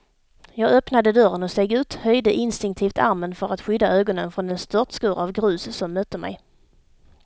Jag öppnade dörren och steg ut, höjde instinktivt armen för att skydda ögonen från den störtskur av grus som mötte mig.